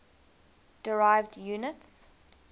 derived units